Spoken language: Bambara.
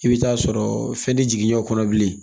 I bɛ taa sɔrɔ fɛn tɛ jigin ɲɛ kɔnɔ bilen